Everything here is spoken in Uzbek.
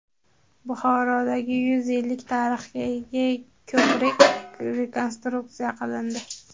Buxorodagi yuz yillik tarixga ega ko‘prik rekonstruksiya qilindi.